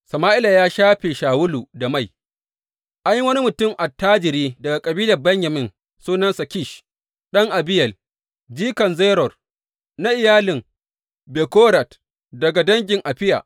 Sama’ila ya shafe Shawulu da mai An yi wani mutum, attajiri daga kabilar Benyamin, sunansa Kish, ɗan Abiyel, jikan Zeror na iyalin Bekorat daga dangin Afiya.